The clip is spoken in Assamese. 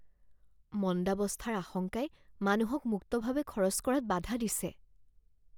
মন্দাৱস্থাৰ আশংকাই মানুহক মুক্তভাৱে খৰচ কৰাত বাধা দিছে